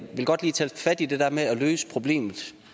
vil godt lige tage fat i det der med at løse problemet